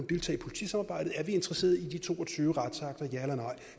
deltage i politisamarbejdet og er vi interesseret i de to og tyve retsakter ja eller nej